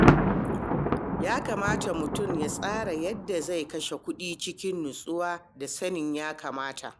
Ya kamata mutum ya tsara yadda zai kashe kuɗi cikin natsuwa da sanin ya-kamata.